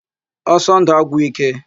Ọsọndụ agwụ agwụ íké.